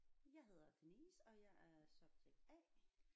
Jeg hedder Denise og jeg er subject A